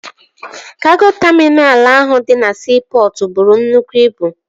Kago taminalụ ahụ dị na siipọtụ bụrụ nnukwu ibu